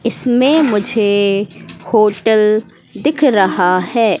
इसमें मुझे होटल दिख रहा है।